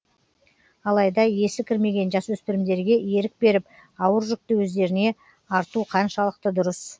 алайда есі кірмеген жасөспірімдерге ерік беріп ауыр жүкті өздеріне арту қаншалықты дұрыс